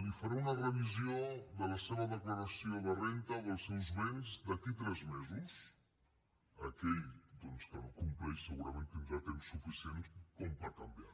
li faré una revisió de la seva declaració de renda o dels seus béns d’aquí a tres mesos aquell doncs que no compleix segurament tindrà temps suficient per canviar